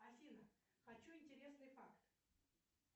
афина хочу интересный факт